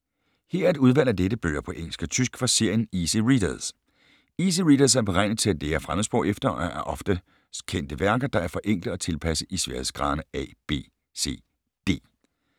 Her er et udvalg af lette bøger på engelsk og tysk fra serien Easy Readers. Easy Readers er beregnet til at lære fremmedsprog efter og er oftest kendte værker, der er forenklet og tilpasset i sværhedsgraderne A-B-C-D.